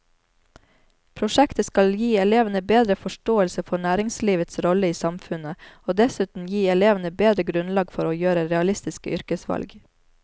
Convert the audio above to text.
Prosjektet skal gi elevene bedre forståelse for næringslivets rolle i samfunnet og dessuten gi elevene bedre grunnlag for å gjøre realistiske yrkesvalg.